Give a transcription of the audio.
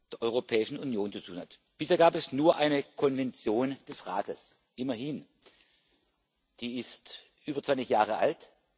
der Europäischen Union zu tun hat. Bisher gab es nur eine Konvention des Rates immerhin. Die ist über 20 Jahre alt.